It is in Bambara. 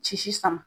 Sisi sama